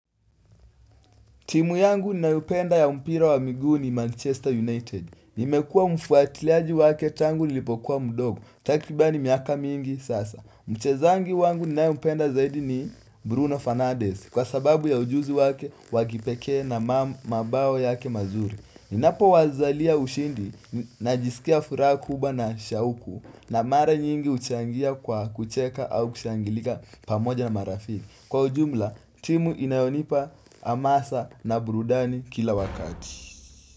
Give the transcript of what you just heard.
Timu yangu ninayopenda ya mpira wa miguu ni Manchester United. Nimekua mfuatiliaji wake tangu nilipokuwa mdogo. Takribani miaka mingi sasa. Mchezangi wangu ninayempenda zaidi ni Bruno Fanades. Kwa sababu ya ujuzi wake wa kipekee na mabao yake mazuri. Ninapowazalia ushindi najisikia furaha kubwa na shauku. Na mara nyingi huchangia kwa kucheka au kushangilika pamoja na marafiki. Kwa ujumla, timu inayonipa hamasa na burudani kila wakati.